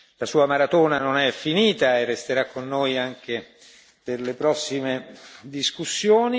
La Sua maratona non è finita e Lei resterà con noi anche per le prossime discussioni.